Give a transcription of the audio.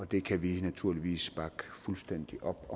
det kan vi naturligvis bakke fuldstændig op